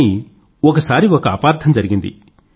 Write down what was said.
కానీ ఒకసారి ఒక అపార్థం జరిగింది